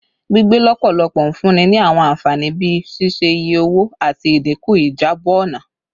Gbigbe lọpọlọpọ n funni ni awọn anfani bii ṣiṣe-iye owo ati idinku ijabọ ọna